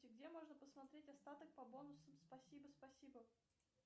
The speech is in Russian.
где можно посмотреть остаток по бонусам спасибо спасибо